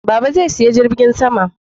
Baba zai saya jirgin sama